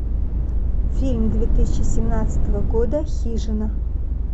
фильм две тысячи семнадцатого года хижина